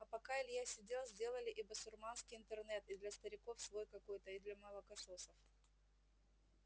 а пока илья сидел сделали и басурманский интернет и для стариков свой какой-то и для молокососов